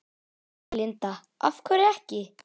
Linda: Af hverju ekki?